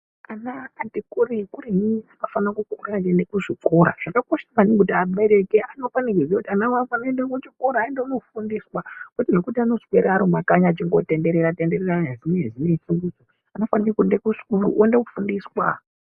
Ana ati kure kureyi anofanirwa kumuka achiende kuzvikora zvakakosha maningi kuti vabereki vanofana kuziva kuti vana vavo vaende kuchikora vaende kunofundiswa kwete zvekuti anongoswera Ari mumakanyi achingitenderera tenderera anofanirwe kuende kuchikora oende kunofundiswa.